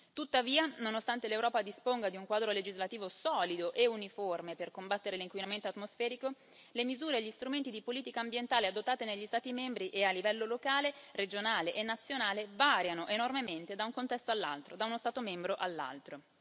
Tuttavia, nonostante l'Europa disponga di un quadro legislativo solido e uniforme per combattere l'inquinamento atmosferico, le misure e gli strumenti di politica ambientale adottati negli Stati membri e a livello locale, regionale e nazionale variano enormemente da un contesto all'altro, da uno Stato membro all'altro.